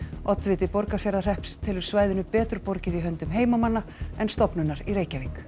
oddviti Borgarfjarðarhrepps telur svæðinu betur borgið í höndum heimamanna en stofnunar í Reykjavík